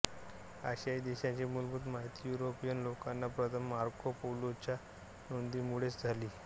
आशियाई देशांची मूलभूत माहिती युरोपियन लोकांना प्रथम मार्को पोलोच्या नोंदीमुळेच झाली